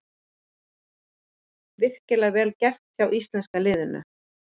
Virkilega vel gert hjá íslenska liðinu.